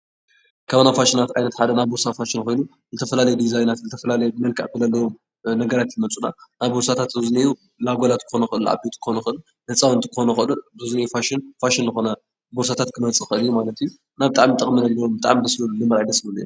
ካብ ናይ ፋሽናት ዓይነት ሓደ ናይ ቦርሳ ፋሽን ኮይኑ ዝተፈላለየ ዲዛይናት ዝተፈላለየ ብመልክዕ ዘለዎም ነገራት እዮም ዝመፁና፡፡ ኣብ ቦርሳታት ኣብዚ እኔእዉ ናይ ኣጓላት ክኾኑ ይኽእሉ፤ ናይ ዓበይቲ ክኾኑ ይኽእሉ፤ ህፃውንቲ ክኾኑ ይኽእሉ፡፡ እዚ ኣብዚ እኒአ ፋሽን ልኾነ ቦርሳታት ክመፅእ ይኽእል እዩ፡፡ እና ብጣዕሚ እዩ ጥቕሚ ለለዎ፡፡ እና እዮም ብጣዕሚ ደስ በሃልቲ፡፡ ደስ ዝብሉ እዮም፡፡